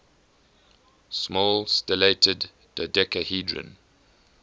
small stellated dodecahedron